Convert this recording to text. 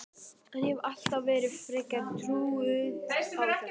En ég hef alltaf verið frekar trúuð á þetta.